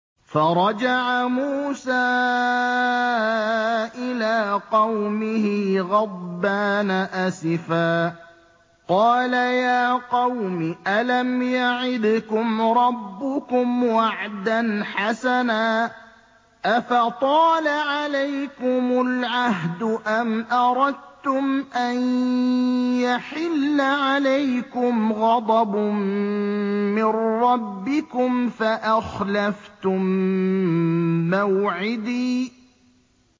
فَرَجَعَ مُوسَىٰ إِلَىٰ قَوْمِهِ غَضْبَانَ أَسِفًا ۚ قَالَ يَا قَوْمِ أَلَمْ يَعِدْكُمْ رَبُّكُمْ وَعْدًا حَسَنًا ۚ أَفَطَالَ عَلَيْكُمُ الْعَهْدُ أَمْ أَرَدتُّمْ أَن يَحِلَّ عَلَيْكُمْ غَضَبٌ مِّن رَّبِّكُمْ فَأَخْلَفْتُم مَّوْعِدِي